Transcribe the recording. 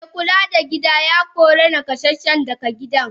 Me Kula da gida ya Korea nakasasshen daga gidan.